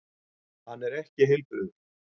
Hann er ekki heilbrigður.